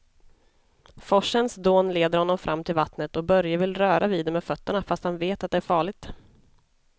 Forsens dån leder honom fram till vattnet och Börje vill röra vid det med fötterna, fast han vet att det är farligt.